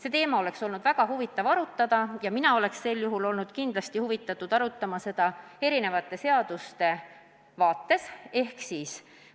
See teema oleks olnud väga huvitav arutada ja mina oleks olnud kindlasti huvitatud arutama seda eri seaduste vaatevinklist.